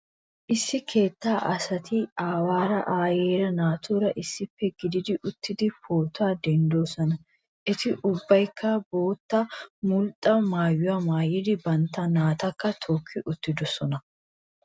Issi keettaa asati aawaara, aayeera, naatuura issippe gididi uttidi pootuwa denddidoosona. Eti ubbaykka bootta mulxxa maayuwa maayidi bantta naatakka tookki uttidosona.